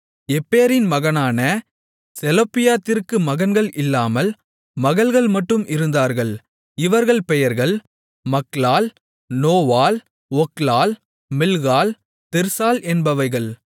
எப்பேரின் மகனான செலொப்பியாத்திற்கு மகன்கள் இல்லாமல் மகள்கள் மட்டும் இருந்தார்கள் இவர்கள் பெயர்கள் மக்லாள் நோவாள் ஒக்லாள் மில்காள் திர்சாள் என்பவைகள்